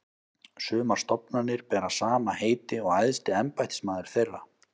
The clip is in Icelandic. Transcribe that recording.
Sumar stofnanir bera sama heiti og æðsti embættismaður þeirra.